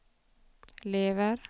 lever